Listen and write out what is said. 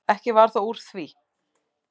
Ekki varð þó úr því.